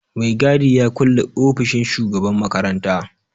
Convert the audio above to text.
Mai gadi ya kulle ofishin shugaban makaranta.